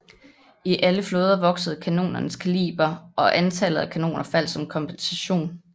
I alle flåder voksede kanonernes kaliber og antallet af kanoner faldt som kompensation